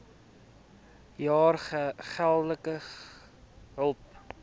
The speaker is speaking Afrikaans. jaar geldelike hulp